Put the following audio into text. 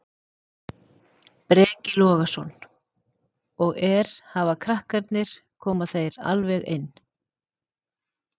Breki Logason: Og er, hafa krakkarnir, koma þeir alveg inn?